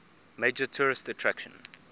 major tourist attraction